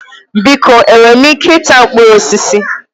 Biko enwere m ike ịta mkpụrụ osisi?